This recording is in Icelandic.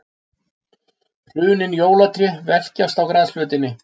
Hrunin jólatré velkjast á grasflötinni.